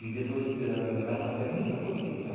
E depois ela fazia muita procissão.